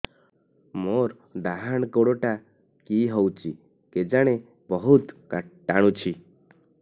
ମୋର୍ ଡାହାଣ୍ ଗୋଡ଼ଟା କି ହଉଚି କେଜାଣେ ବହୁତ୍ ଟାଣୁଛି